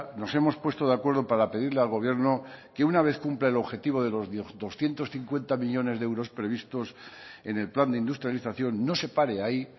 nos hemos puesto de acuerdo para pedirle al gobierno que una vez cumpla el objetivo de los doscientos cincuenta millónes de euros previstos en el plan de industrialización no se pare ahí